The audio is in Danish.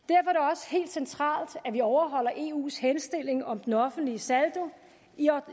også helt centralt at vi overholder eu’s henstilling om den offentlige saldo